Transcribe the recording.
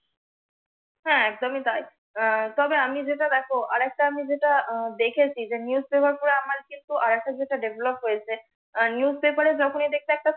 হ্যাঁ একদমি তাই। আহ তবে আমি যেটা দেখ আর একটা আমি যেটা দেখেছি যে newspaper পড়ে আমার কিন্তু আর একটা যে টা develop হয়েছে newspaper এ যখনি একটা